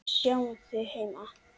Við sjáum þig heima.